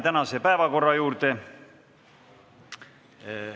Läheme tänase päevakorra juurde.